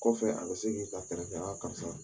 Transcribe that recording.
Kɔfɛ a ka se k'i ta kɛlɛ karisa